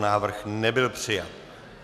Návrh nebyl přijat.